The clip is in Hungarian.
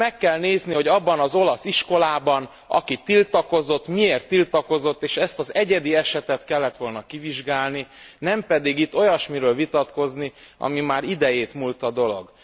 Meg kell nézni, hogy abban az olasz iskolában, aki tiltakozott, miért tiltakozott és ezt az egyedi esetet kellet volna kivizsgálni, nem pedig itt olyasmiről vitatkozni, ami már idejétmúlta dolog.